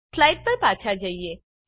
slide પર પાછા જઈએ